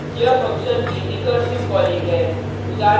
यह फंक्शन की recursive calling है